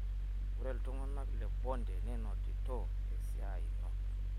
ore iltung'anak le Bondo neinotito esiai ino